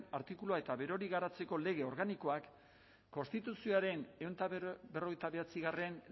artikulua eta berori garatzeko lege organikoak konstituzioaren ehun eta berrogeita bederatzigarrena